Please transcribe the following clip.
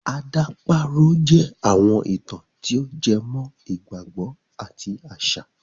Àdàparo jẹ́ àwọn ìtàn tí o jẹ mọ́ ìgbàgbọ àti àṣà